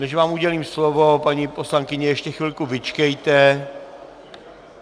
Než vám udělím slovo, paní poslankyně, ještě chvilku vyčkejte.